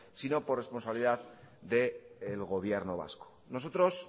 sino por responsabilidad del gobierno vasco nosotros